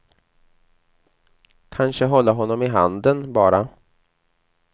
Kanske hålla honom i handen, bara.